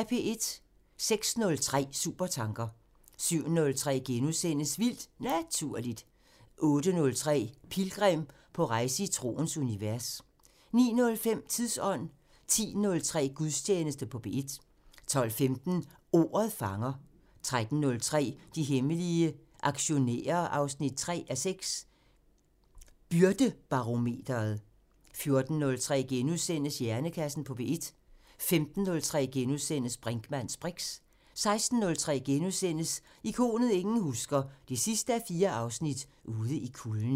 06:03: Supertanker 07:03: Vildt Naturligt * 08:03: Pilgrim – på rejse i troens univers 09:05: Tidsånd 10:03: Gudstjeneste på P1 12:15: Ordet fanger 13:03: De hemmelige aktionærer 3:6 – Byrdebarometeret 14:03: Hjernekassen på P1 * 15:03: Brinkmanns briks * 16:03: Ikonet ingen husker – 4:4 Ude i kulden *